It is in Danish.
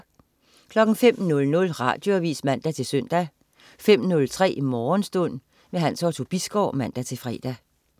05.00 Radioavis (man-søn) 05.03 Morgenstund. Hans Otto Bisgaard (man-fre)